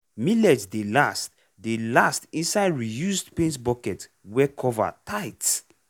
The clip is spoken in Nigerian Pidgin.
millet dey last dey last inside reused paint bucket wey cover tight.